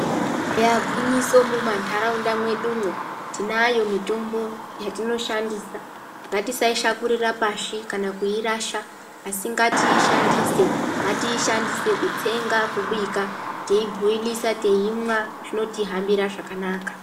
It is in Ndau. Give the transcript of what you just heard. Eya gwinyiso mumanharaunda medumo tine mitombo yatinoshandisa ngatisaishakurira pashi kana kuirasha asi ngatiishandise kutsenga kubika teibhoilisa teimwa zvinotihambira zvakanaka.